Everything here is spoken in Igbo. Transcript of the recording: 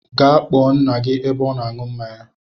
Gee kpọọ ńnà gị ebe ọ nọ aṅụ mmáñyá!!